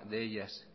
de ellas